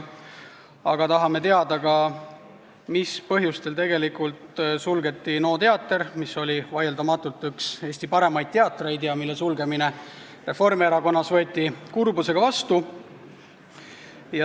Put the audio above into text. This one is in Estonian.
Aga me tahame teada ka, mis põhjustel tegelikult suleti NO teater, mis oli vaieldamatult üks Eesti parimaid teatreid ja mille sulgemise otsus võeti Reformierakonnas kurbusega vastu.